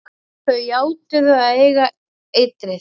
Þau játuðu að eiga eitrið.